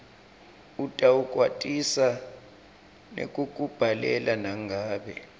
utawukwatisa ngekukubhalela nangabe